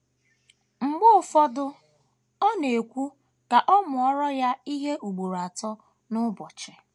Mgbe ụfọdụ, ọ na - ekwu ka a mụọrọ ya ihe ugboro atọ n’ụbọchị!